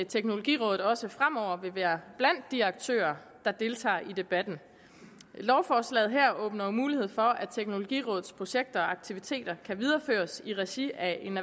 teknologirådet også fremover vil være blandt de aktører der deltager i debatten lovforslaget her åbner jo mulighed for at teknologirådets projekter og aktiviteter kan videreføres i regi af en